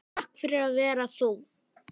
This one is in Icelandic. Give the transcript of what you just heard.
Takk fyrir að vera þú.